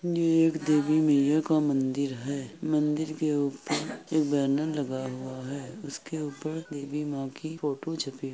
ये एक देवी मईया का मन्दिर है। मन्दिर के ऊपर एक बैनर लगा हुआ है इसके ऊपर देवी मईया की फोटो छपी --